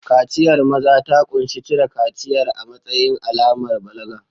Kaciyar maza ta ƙunshi cire kaciyar a matsayin alamar balaga.